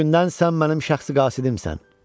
Bugündən sən mənim şəxsi qasidimsən.